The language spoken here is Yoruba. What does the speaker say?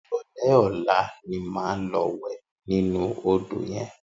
Iròlè ólá ni má lò wè ninú ódó yèn